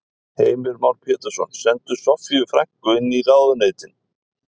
Heimir Már Pétursson: Senda Soffíu frænku inn í ráðuneytin?